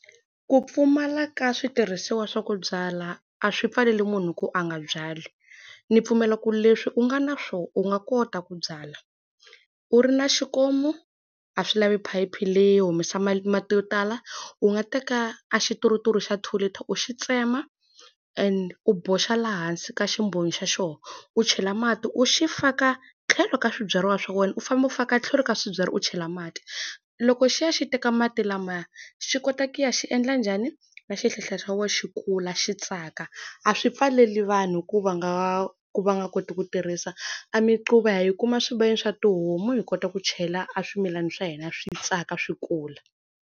Ku pfumala ka switirhisiwa swa ku byala a swi pfaleli munhu ku a nga byali. Ndzi pfumela ku leswi u nga na swona u nga kota ku byala. U ri na xikomu, a swi lavi phayiphi leyi humesa mati yo tala. U nga teka a xituruturu xa two liter u xi tsema, and u boxa laha hansi ka ximbonyo xa xona, u chela mati u xi faka tlhelo ka swibyariwa swa wena u famba u faka tlhelo ka swibyariwa u chela mati. Loko xi ya xi teka mati lamaya, xi kota ku ya xi endla njhani, na xihlahla xa wena xi kula xi tsaka. A swi pfaleli vanhu ku va nga ha ku va nga koti ku tirhisa. A miquva ha yi kuma swibayeni swa tihomu hi kota ku chela aswimilana swa hina swi tsaka swi kula.